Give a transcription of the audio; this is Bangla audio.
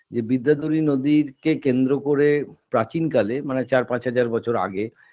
যে বিদ্যাধরী নদীর কে কেন্দ্র করে প্রাচীনকালে মানে চার পাঁচ হাজার বছর আগে